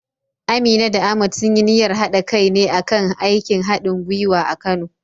Amina da Ahmad sun yi niyyar haɗa kai ne a kan aikin hadin gwiwa a Kano.